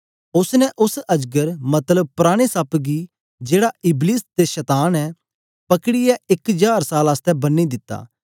उस्स ने उस्स अजगर मतलब पराने सप्प गी जेड़ा इबलीस ते शतान ऐ पकड़ीयै इक जार साल आसतै बन्नी दिता